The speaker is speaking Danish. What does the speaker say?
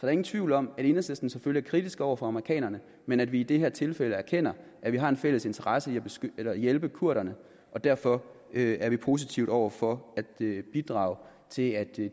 er ingen tvivl om at enhedslisten selvfølgelig er kritiske over for amerikanerne men at vi i det her tilfælde erkender at vi har en fælles interesse i at hjælpe kurderne derfor er vi positive over for at bidrage til at